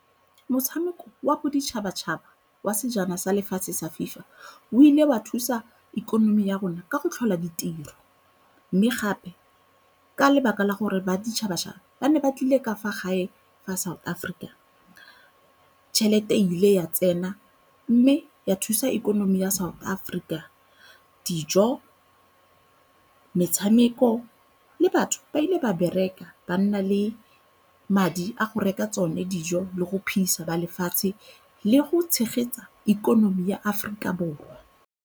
Motshameko wa boditšhabatšhaba wa sejana sa lefatshe sa FIFA o ile wa thusa ikonomi ya rona ka go tlhola ditiro. Mme gape ka lebaka la gore ba ditšhabatšhaba ba ne ba tlile ka fa gae fa South Africa, tšhelete e ile ya tsena mme ya thusa ikonomi ya South Africa. Dijo, metshameko le batho ba ile ba bereka ba nna le madi a go reka tsone dijo le go phidisa ba lefatshe le go tshegetsa ikonomi ya Aforika Borwa.